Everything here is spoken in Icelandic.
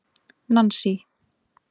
Nansý